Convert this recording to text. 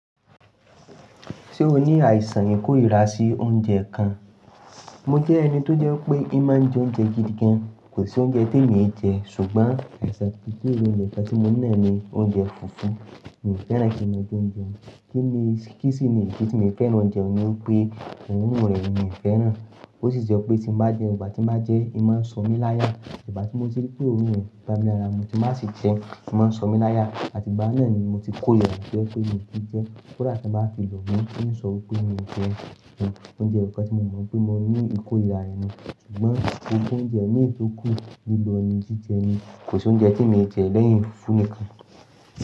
Ṣé o ní àìsàn ìkórìíra sí oúnjẹ kan? Mo jẹ́ ẹni tó jẹ́ pé ì máa ń jẹ oúnjẹ gidi gan. Kò sí oúnjẹ te mi ee jẹ ṣùgbọ́n àìsàn tí emi nìkan ti mo ńi tí mo naa ní oúnjẹ fufu. Mi ò fẹ́ràn kí máa jẹ oúnjẹ ku. Kí ni, kí sini ìdí tí mo fẹ́ràn oúnjẹ mi pé òórùn rẹ̀ mi ò fẹ́ràn. Ó sì je pé tí mbá jẹun igbà tí mbá jẹ́, ì máa ń sọ mí láya. Ìgbà tí mo ti rí pé òórùn rẹ̀ ko bá mí lára mu tí mba sì jẹ́, ì máa ń sọ mí láya àti ìgbà unnnáà ni mo ti korira jẹ́ pé èmi kì í jẹ. Kódà tí wọ́n bá fi lò mi, í n sọ wipé mi ò jẹun ni. Oúnjẹ eyọ̀kan tí mo mọ̀ wipé mo ní ìkórìíra re nú ṣùgbọ́n kí n jẹ oúnjẹ mi tó kù lilọ ní jíjẹ ni. Kò sí oúnjẹ te mi ee jẹ́ lẹ́yìn fúfuníkan.